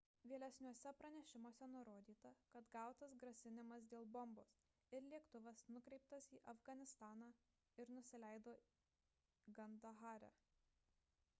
vėlesniuose pranešimuose nurodyta kad gautas grasinimas dėl bombos ir lėktuvas nukreiptas į afganistaną ir nusileido kandahare